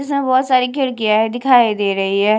इसमें बहुत सारी खिड़कियाँ हैं दिखाई दे रही हैं।